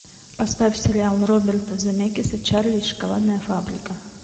поставь сериал роберта земекиса чарли и шоколадная фабрика